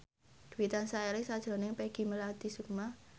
Dwi tansah eling sakjroning Peggy Melati Sukma